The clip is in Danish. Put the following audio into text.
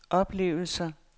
oplevelser